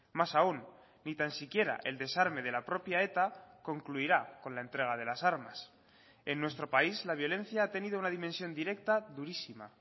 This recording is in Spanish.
más aún ni tan siquiera el desarme de la propia eta concluirá con la entrega de las armas en nuestro país la violencia ha tenido una dimensión directa durísima